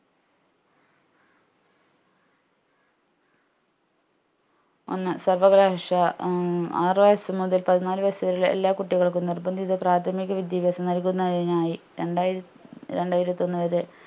ഒന്ന് സർവ്വകലാശ ആറ് വയസ്സ് മുതൽ പതിനാല് വയസ്സ് വരെയുള്ള എല്ലാ കുട്ടികൾക്കും പ്രാഥമിക വിദ്യാഭ്യാസം നൽകുന്നതിനായി രണ്ടായിരം രണ്ടായിരത്തിഒന്ന്‌ വരെ